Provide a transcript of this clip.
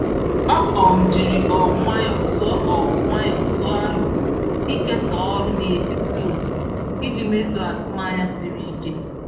Ọ um jiri um nwayọọ tụọ um nwayọọ tụọ aro ịkesa ọrụ n’etiti otu iji mezuo atụmanya siri ike.